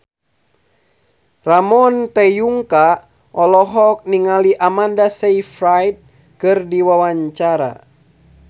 Ramon T. Yungka olohok ningali Amanda Sayfried keur diwawancara